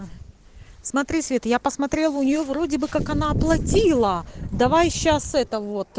смотри свет я посмотрела у неё вроде бы как она оплатила давай сейчас это вот